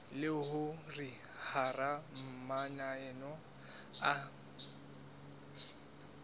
le hore hara mananeo a